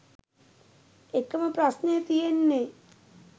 එකම ප්‍රශ්නය තියෙන්නේ